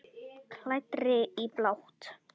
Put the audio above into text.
Klæddri í blátt.